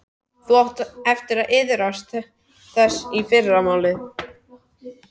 Þú átt eftir að iðrast þess í fyrramálið.